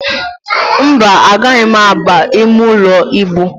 Mba, agaghị m ábà imeụlọ íbù.